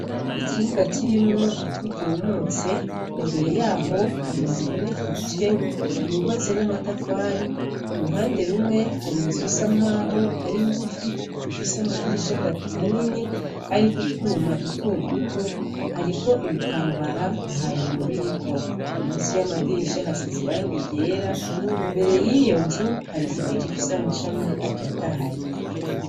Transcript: Ikibuga kirimwo ivu ryumutse, imbere yaho har’inzu iboneka igice yubatse namatafari, iruhande rumwe hari inzu isa nkaho aringufi ifise amadirisha atatu manini ariko utwuma dutoduto, hariko ibitambara ntabiyo biriko, munsi yamadirisha hasize irangi ryera imbere yiyonzu hari igiti gifise amashami atotahaye.